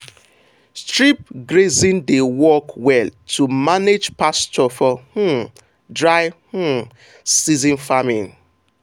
strip grazing dey work well to manage pasture for um dry um season farming.